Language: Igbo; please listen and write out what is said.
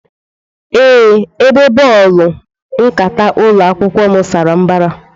Ee, Ebe bọọlụ nkata ụlọ akwụkwọ m sara mbara.